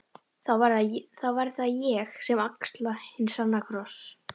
Þá verð það ég sem axla hinn sanna kross.